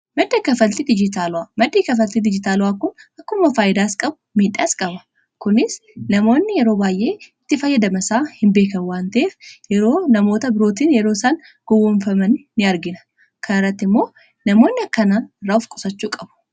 maddii kafalti dijitaala'aa kun akkuma faayyidaas qabu miidhaas qaba kunis namoonni yeroo baayyee itti fayyadamasaa hin beeke wanteef yeroo namoota birootiin yeroo isaan gowwomfaman in argina kanaaratti immoo namoonni akkanaa irraa uf qusachuu qabu